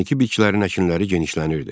Texniki bitkilərin əkinləri genişlənirdi.